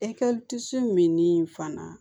min fana